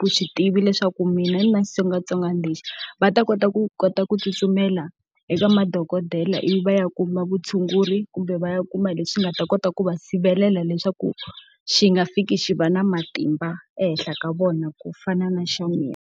vuswi tivi leswaku mina ni na xitsongwatsongwana lexi, va ta kota ku kota ku tsutsumela eka madokodela ivi va ya kuma vutshunguri kumbe va ya kuma hi leswi nga ta kota ku va sirhelela leswaku xi nga fiki xi va na matimba ehenhla ka vona ku fana na xa mina.